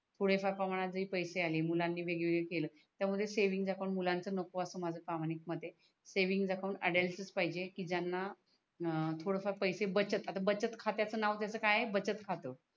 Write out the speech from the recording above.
पुढे फार प्रमाणे पैसे आले मुलंनी वेगवेळे केल त्या मूळे सेव्हिंग अकाउंट मुलांच नको अस माझ प्रामाणिक मत आहे सेव्हिंग अकाउंट अटेंशन पाहिजे की ज्याना थोडे फार पैसे बचत आता बचत खात्याच नाव त्याच काय आहे बचत खात